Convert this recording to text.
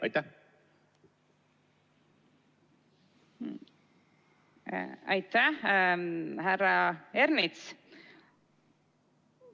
Aitäh, härra Ernits!